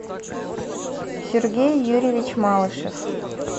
сергей юрьевич малышев